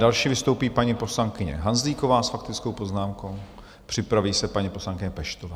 Další vystoupí paní poslankyně Hanzlíková s faktickou poznámkou, připraví se paní poslankyně Peštová.